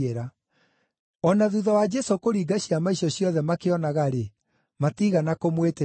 O na thuutha wa Jesũ kũringa ciama icio ciothe makĩonaga-rĩ, matiigana kũmwĩtĩkia.